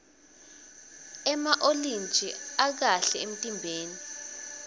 ema olintji akahe emtimbeni